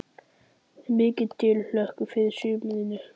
Er mikil tilhlökkun fyrir sumrinu?